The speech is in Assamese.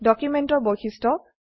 ডকুমেন্টেৰ বৈশিষ্ট্য